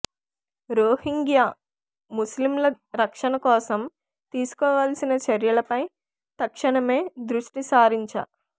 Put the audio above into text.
రోహింగ్యా ముస్లింల రక్షణ కోసం తీసుకోవాల్సిన చర్యలపై తక్షణమే దృష్టి సారించ